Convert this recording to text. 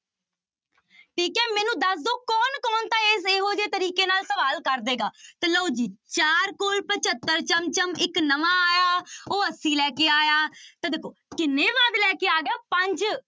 ਠੀਕ ਹੈ ਮੈਨੂੰ ਦੱਸ ਦਓ ਕੌਣ ਕੌਣ ਤਾਂ ਇਹ, ਇਹੋ ਜਿਹੇ ਤਰੀਕੇ ਨਾਲ ਸਵਾਲ ਕਰ ਦਏਗਾ ਤੇ ਲਓ ਜੀ ਚਾਰ ਕੋਲ ਪਜੱਤਰ ਚਮ ਚਮ, ਇੱਕ ਨਵਾਂ ਆਇਆ ਉਹ ਅੱਸੀ ਲੈ ਕੇ ਆਇਆ, ਤਾਂ ਦੇਖੋ ਕਿੰਨੇ ਵੱਧ ਲੈ ਕੇ ਆ ਗਿਆ ਪੰਜ।